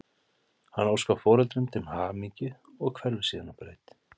Hann óskar foreldrunum til hamingju og hverfur síðan á braut.